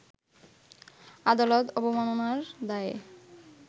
আদালত অবমাননার দায়ে